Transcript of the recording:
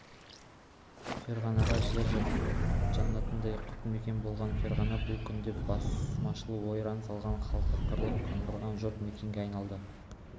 ферғана жер жаннатындай құт мекен болған ферғана бұл күнде басмашылар ойран салған халқы қырылып қаңғырған жұт мекенге айналды